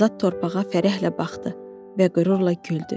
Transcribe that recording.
Azad torpağa fərəhlə baxdı və qürurla güldü.